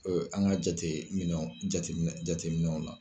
An ka jateminɛ jateminɛ jateminɛw la.